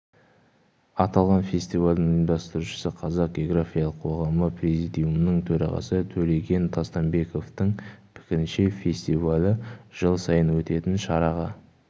аталған фестивальдің ұйымдастырушысы қазақ географиялық қоғамы президиумының төрағасы төлеген тастанбековтің пікірінше фестивалі жыл сайын өтетін шараға